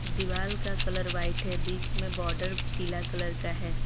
दीवाल का colour white है बीच में बॉर्डर पीला कलर का है।